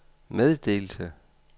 meddelte